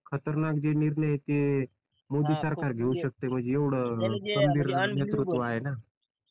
खतरनाक जे निर्णय आहेत ते मोदी सरकार घेऊ शकता म्हणजे एवढं खंबीर नेतृत्व आहे ना